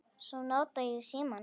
Svo nota ég símann.